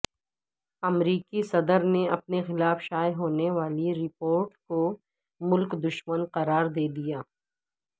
امریکی صدر نے اپنے خلاف شائع ہونے والی رپورٹ کو ملک دشمن قرار دے دیا